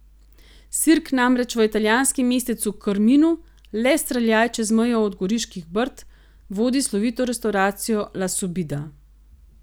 Sirk namreč v italijanskem mestecu Krminu, le streljaj čez mejo od Goriških brd, vodi slovito restavracijo La Subida.